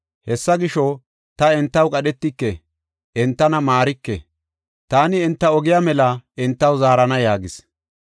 Hessa gisho, ta entaw qadhetike; entana maarike. Taani enta ogiya mela entaw zaarana” yaagis.